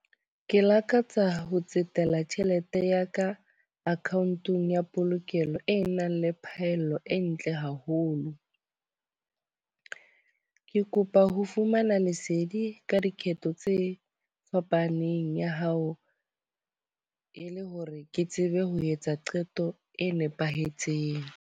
Ke lakatsa ho tsetela tjhelete ya ka account-ong ya polokelo e nang le phahello e ntle haholo. Ke kopa ho fumana lesedi ka dikgetho tse fapaneng ya hao, e le hore ke tsebe ho etsa qeto e nepahetseng.